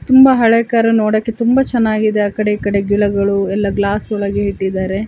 ತುಂಬಾ ಹಳೇ ಕಾರು ನೋಡಕೆ ತುಂಬಾ ಚೆನ್ನಾಗಿದೆ ಅಕೆಡೆ ಈಕಡೆ ಗಿಡಗಳು ಎಲ್ಲ ಗ್ಲಾಸ್ ಒಳಗೆ ಇಟ್ಟಿದಾರೆ